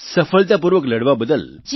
સફળતાપૂર્વક લડવા બદલ